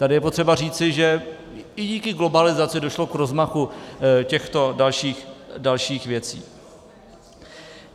Tady je potřeba říci, že i díky globalizaci došlo k rozmachu těchto dalších věcí.